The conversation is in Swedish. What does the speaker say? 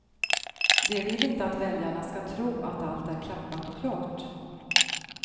De vill inte att väljarna ska tro att allt är klappat och klart.